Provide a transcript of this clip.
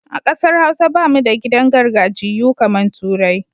A ƙasar Hausa ba mu da gidan gajiyayyu kamar turai